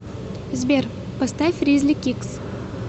сбер поставь ризли кикс